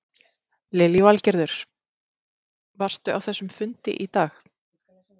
Lillý Valgerður: Varstu á þessum fundi í dag?